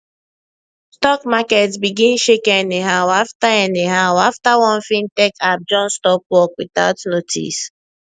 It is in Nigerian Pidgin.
stock market begin shake anyhow after anyhow after one fintech app just stop work without notice